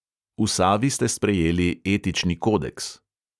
V savi ste sprejeli etični kodeks.